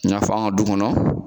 I fɔ an ka du kɔnɔ